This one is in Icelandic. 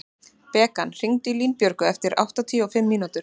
Bekan, hringdu í Línbjörgu eftir áttatíu og fimm mínútur.